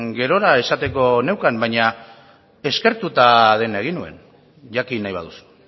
gerora esateko neukan baina eskertuta dena egin nuen jakin nahi baduzu